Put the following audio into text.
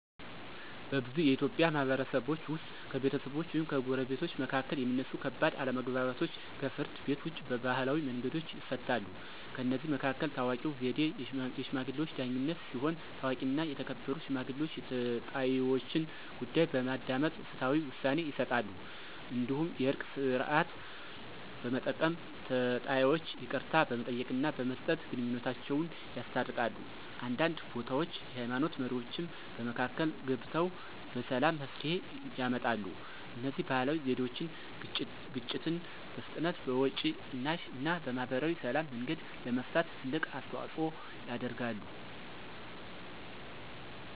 በብዙ የኢትዮጵያ ማህበረሰቦች ውስጥ ከቤተሰቦች ወይም ከጎረቤቶች መካከል የሚነሱ ከባድ አለመግባባቶች ከፍርድ ቤት ውጭ በባህላዊ መንገዶች ይፈታሉ። ከእነዚህ መካከል ታዋቂው ዘዴ “የሽማግሌዎች ዳኝነት” ሲሆን፣ ታዋቂና የተከበሩ ሽማግሌዎች የተጣይወችን ጉዳይ በማዳመጥ ፍትሃዊ ውሳኔ ይሰጣሉ። እንዲሁም “የእርቅ ሥርዓት” በመጠቀም ተጣይወች ይቅርታ በመጠየቅና በመስጠት ግንኙነታቸውን ያስታርቃሉ። አንዳንድ ቦታዎች የሃይማኖት መሪዎችም በመካከል ገብተው በሰላም መፍትሄ ያመጣሉ። እነዚህ ባህላዊ ዘዴዎች ግጭትን በፍጥነት፣ በወጪ ቅናሽ እና በማህበራዊ ሰላም መንገድ ለመፍታት ትልቅ አስተዋፅኦ ያደርጋሉ።